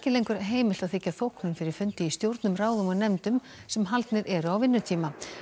lengur heimilt að þiggja þóknun fyrir fundi í stjórnum ráðum og nefndum sem haldnir eru á vinnutíma